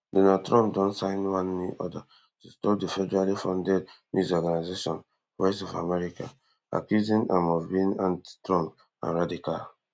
donald trump don sign one order to stop di federally funded news organisation voice of america accusing am of being antitrump and radical